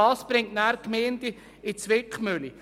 Das bringt anschliessend die Gemeinden in die Zwickmühle.